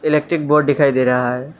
Electric board दिखाई दे रहा है।